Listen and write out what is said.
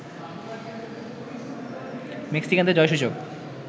মেক্সিকানদের জয়সূচক